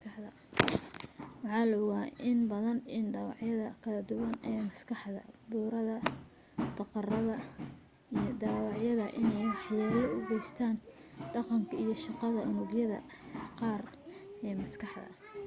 waxaa la ogaa inbadan in dhaawacyada kala duwan ee maskaxda burada daqarada iyo dhaawacyada in ay wax yeelo u geystaan dhaqanka iyo shaqada unugyada qaar ee maskaxda